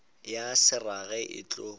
ya se rage e tlo